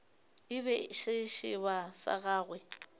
e be sešeba sa gagwe